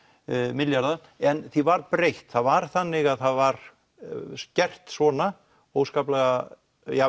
milljarða en því var breytt það var þannig að það var skert svona óskaplega